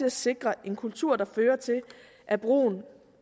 at sikre en kultur der fører til at brugen